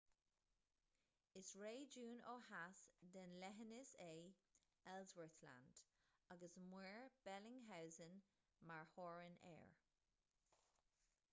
is réigiún ó theas den leithinis é ellsworth land agus muir bellingshausen mar theorainn air